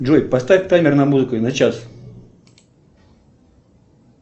джой поставь таймер на музыку на час